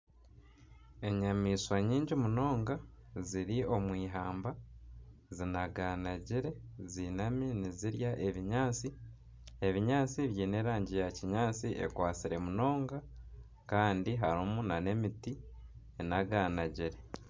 Enyamaishwa nyingi munonga ziri omu ihamba zinaganagire ziinami nizirya ebinyaatsi. Ebinyaatsi biine erangi ya kinyaatsi ekwatsire munonga kandi harimu nana emiti enaganagire.